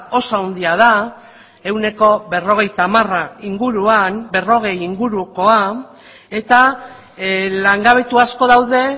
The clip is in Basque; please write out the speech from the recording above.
oso handia da ehuneko berrogeita hamara inguruan berrogei ingurukoa eta langabetu asko daude